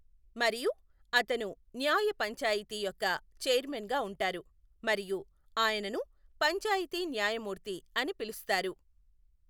మరియు అతను న్యాయ పంచాయితీ యొక్క చెైర్మన్ గా ఉంటారు మరియు ఆయనను పంచాయితీ న్యాయమూర్తి అని పిలుస్తారు.